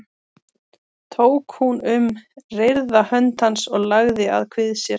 Tók hún um reyrða hönd hans og lagði að kvið sér.